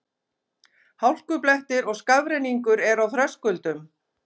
Hálkublettir og skafrenningur er á Þröskuldum